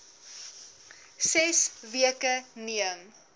ses weke neem